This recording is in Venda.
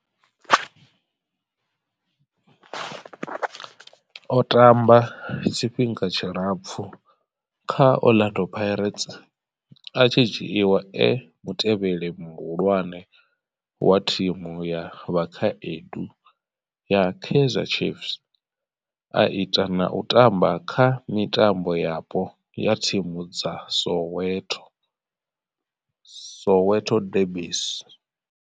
O tamba tshifhinga tshilapfhu kha Orlando Pirates, a tshi dzhiiwa e mutevheli muhulwane wa thimu ya vhakhaedu ya Kaizer Chiefs, a ita na u tamba kha mitambo yapo ya thimu dza Soweto Soweto derbies.